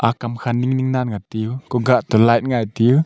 akam kha ning ning nan tiu kuka tiu light ngai tiu.